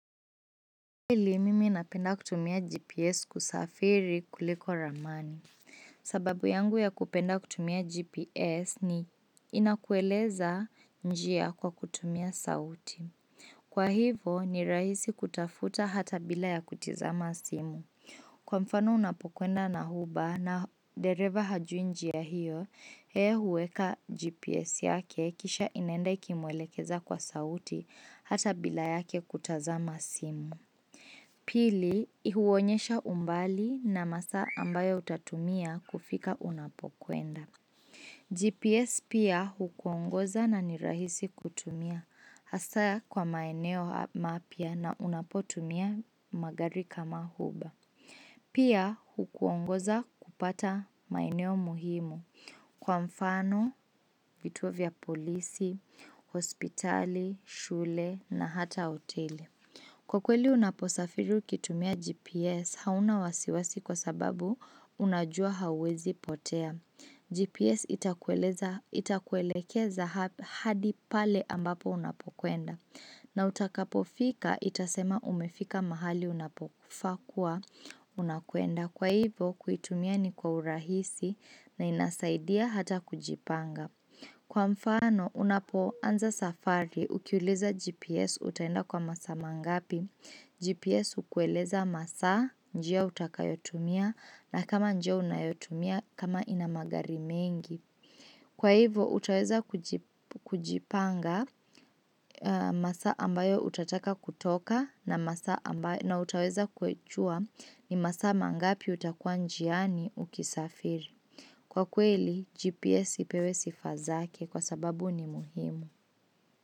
Pili, mimi napenda kutumia GPS kusafiri kuliko ramani. Sababu yangu ya kupenda kutumia GPS ni inakueleza njia kwa kutumia sauti. Kwa hivyo, ni rahisi kutafuta hata bila ya kutizama simu. Kwa mfano unapokwenda na uber na dereva hajui njia hiyo, yeye huweka GPS yake kisha inaenda ikimwelekeza kwa sauti hata bila yake kutazama simu. Pili, huonyesha umbali na masaa ambayo utatumia kufika unapokwenda. GPS pia hukuongoza na ni rahisi kutumia, hasa kwa maeneo mapya na unapotumia magari kama uber. Pia hukuongoza kupata maeneo muhimu kwa mfano, vituo vya polisi, hospitali, shule na hata hoteli. Kwa kweli unaposafiri ukitumia GPS hauna wasiwasi kwa sababu unajua hawezi potea. GPS itakuelekeza hadi pale ambapo unapokwenda. Na utakapofika itasema umefika mahali unapofaa kuwa unakwenda. Kwa hivyo kuitumia ni kwa urahisi na inasaidia hata kujipanga. Kwa mfano unapoanza safari ukiuliza GPS utaenda kwa masaa mangapi, GPS ukueleza masaa njia utakayotumia na kama njia unayotumia kama ina magari mengi. Kwa hivyo utaweza kujipanga masaa ambayo utataka kutoka na masaa ambayo na utaweza kujua ni masaa mangapi utakuwa njiani ukisafiri. Kwa kweli, GPS ipewe sifa zake kwa sababu ni muhimu.